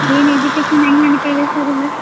N education ಹೆಂಗ್ ನಡಿತಾಯಿದೆ sir ಎಲ್ಲಾ.